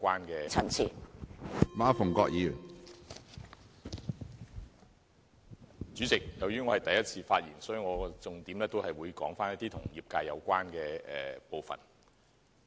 主席，這是我的第一次發言，我會重點談談與業界有關的部分。